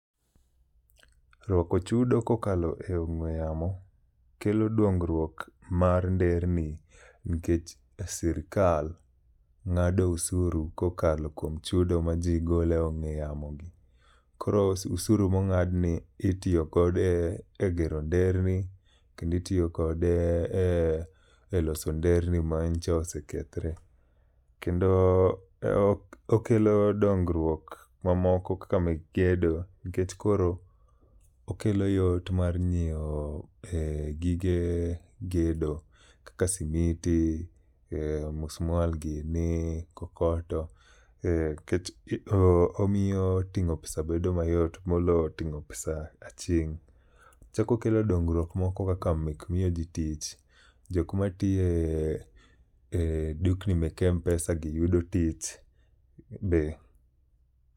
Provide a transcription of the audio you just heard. Rwako chudo kokalo e ong'we yamo, kelo dongruok mar nderni nikech sirikal ng'ado usuru kokalo kuom chudo ma ji golo e ong'we yamo gi. Koro usuru mang'adni itiyo godo e gero nderni kenditiyo kode e loso nderni ma nyicha osekethre. Kendo o okelo dongruok mamoko kaka mek gedo, nikech koro okelo yot mar nyiewo e gige gedo kaka simiti, eh musmwal gini, kokoto. Ee, kech o omiyo ting'o pesa bedo mayot molo ting'o pesa aching'. Ochakokelo dongruok moko kaka mek miyoji tich, jokma tiyo e dukni mek Mpesa gi yudo tich be.